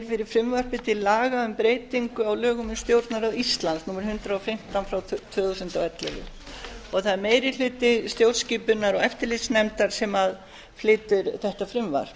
fyrir frumvarpi til laga um breytingu á lögum um stjórnarráð íslands númer hundrað og fimmtán tvö þúsund og ellefu og það er meiri hluti stjórnskipunar og eftirlitsnefndar sem flytur þetta frumvarp